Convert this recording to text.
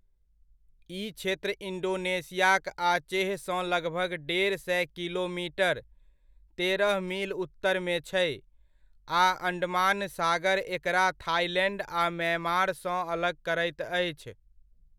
ई क्षेत्र इण्डोनेशियाक आचेहसँ लगभग डेढ़ सए किलोमीटर, तेरह मील उत्तरमे छै आ अण्डमान सागर एकरा थाइलैण्ड आ म्यांमारसँ अलग करैत अछि।